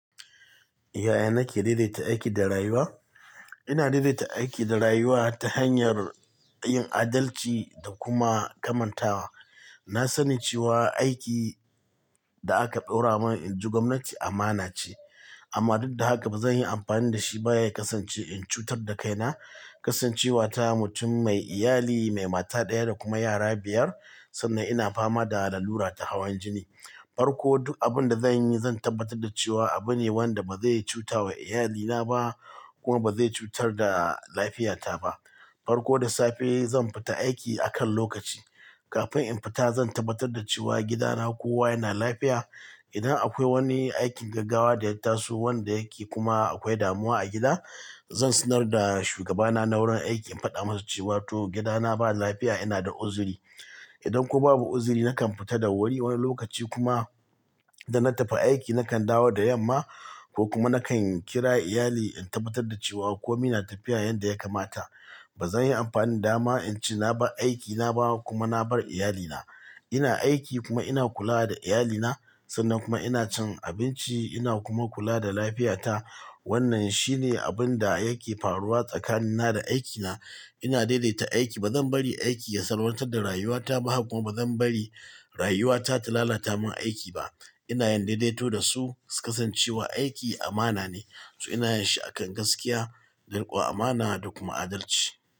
Yaya nake daidaita aiki da rayuwa? Ina daidaita aiki da rayuwa ta hanyar yin adalci da kuma kamantawa. Na sani cewa aiki da aka ɗaura mun in ji gwamnati amana ce amma duk da haka ba zan yi amfani da shi ba ya kasance in cutar da kaina. Kasancewa ta mutum mai iyali, mai mata ɗaya da kuma yara biyar sannan ina fama da lallura ta hawan jini. Farko duk abin da zan yi zan tabbatar da cewa abu ne wanda ba zai cuta wa iyalina ba kuma ba zai cutar da lafiyata ba. Farko da safe zan fita aiki akan lokaci. Kafin in fita zan tabbatar da cewa gidana kowa yana lafiya. Idan akwai wani aikin gaggawa da ya taso wanda yake kuma akwai damuwa a gida, zan sanar da shugabana na wurin aiki in faɗa masa cewa to gidana ba lafiya ina da uzuri. Idan kuwa babu uzuri nakan fita da wuri wani lokaci kuma da na tafi aiki nakan dawo da yamma ko kuma nakan kira iyali in tabbatar da cewa kome na tafiya yanda ya kamata. Ba zan yi amfani da dama in ce na bar aiki na ba kuma na bar iyalina. Ina aiki kuma ina kula da iyalina sannan kuma ina cin abinci ina kuma kula da lafiyata. Wannan shine abun da yake faruwa tsakanina da aikina. Ina daidaita aiki. Ba zan bari aiki ya salwantar da rayuwata ba kuma ba zan bari rayuwata ta lalata mun aiki ba. Ina yin daidaito da su. Kasancewa aiki amana ne, so ina yin shi akan gaskiya da rikon amana da kuma adalci.